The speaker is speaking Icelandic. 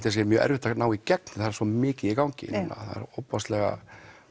það sé mjög erfitt að ná í gegn það er svo mikið í gangi það eru ofboðslega